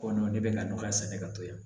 Ko ne bɛ ka nɔgɔya sɛnɛ ka to yan